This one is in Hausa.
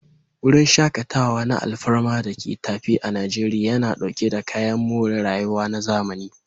Wurin shakatawa na alfarma da ke tafe a Najeriya, yana dauke da kayan more rayuwa na zamani.